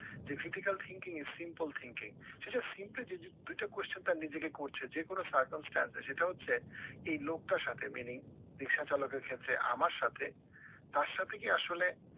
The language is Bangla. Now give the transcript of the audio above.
যে critical thinking is simple thinking সে দুইটা question তার নিজেকে করছে যে কোনো circumstance এ সেটা হচ্ছে এই লোকটার সাথে মিলিয়ে রিক্সাচালকের ক্ষেত্রে আমার সাথে, তার সাথে কি আসলে